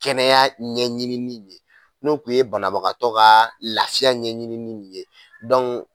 Kɛnɛya ɲɛɲinini ye n'o tun ye banabagatɔ kaa lafiya ɲɛɲinini ni ye